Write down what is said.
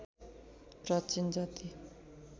प्राचीन जाति